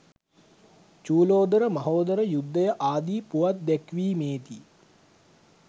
චූලෝදර, මහෝදර යුද්ධය ආදී පුවත් දැක්වීමේ දී